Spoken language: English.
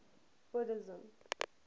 buddhism